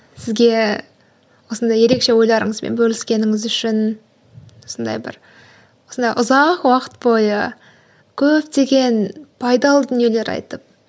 сізге осындай ерекше ойларыңызбен бөліскеніңіз үшін осындай бір осындай ұзақ уақыт бойы көптеген пайдалы дүниелер айтып